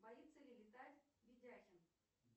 боится ли летать видяхин